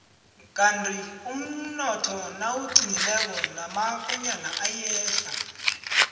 kandi umnotho nawuqinileko namakonyana ayehla